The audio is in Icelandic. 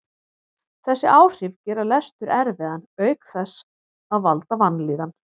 Þessi áhrif gera lestur erfiðan auk þess að valda vanlíðan.